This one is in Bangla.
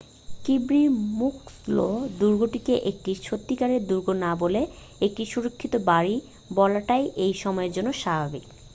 কির্বি মুক্সলো দুর্গটিকে একটি সত্যিকারের দুর্গ না বলে একটি সুরক্ষিত বাড়ির বলাটাই এই সময়ের জন্য স্বাভাবিক